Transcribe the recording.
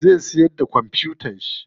Zai siyar da kwamfutan shi.